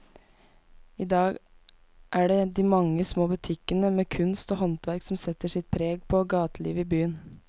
I dag er det de mange små butikkene med kunst og håndverk som setter sitt preg på gatelivet i byen.